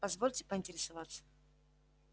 позвольте поинтересоваться